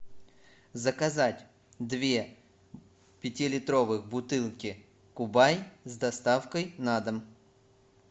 заказать две пятилитровых бутылки кубань с доставкой на дом